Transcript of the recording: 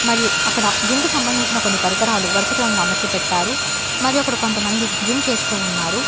మరియు అక్కడ జిమ్ కు సంబంధించిన కొన్ని పరికరాలు వరుస క్రమంలో అమర్చిపెట్టారు మరియు అక్కడ కొంతమంది జిమ్ చేస్తూ ఉన్నారు.